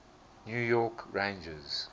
new york rangers